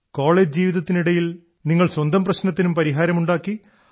college ജീവിതത്തിനിടിൽ നിങ്ങൾ സ്വന്തം പ്രശ്നത്തിനും പരിഹാരം ഉണ്ടാക്കി